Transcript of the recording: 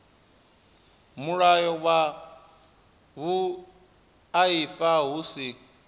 mulayo wa vhuaifa hu si